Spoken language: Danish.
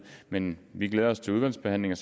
men vi glæder os til udvalgsbehandlingen